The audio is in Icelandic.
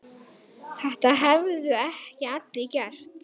Þetta hefðu ekki allir gert.